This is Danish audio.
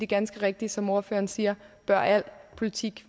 ganske rigtigt som ordføreren siger at al politik